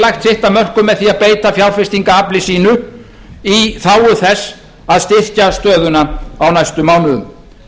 lagt sitt af mörkum með því að beita fjárfestingarafli sínu í þágu þess að styrkja stöðuna á næstu mánuðum